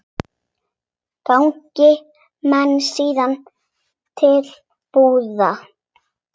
Ganga menn síðan til búða.